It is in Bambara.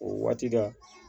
O waati dɛ